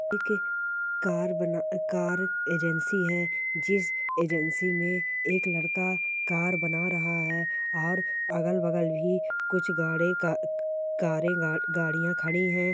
एक कार बना कार बना कार एजेंसी है जिस एजेंसी में एक लड़का कार बना रहा है और अगल बगल भी कुछ गाड़े का कारे गा-गाड़ियाँ खड़ी है।